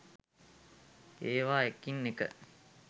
ඒවා එකින් එක